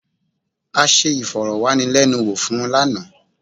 A ṣe ìfọ̀rọ̀wánilẹ́nuwò fún un lánàá.